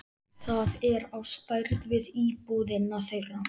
Það er á stærð við íbúðina þeirra.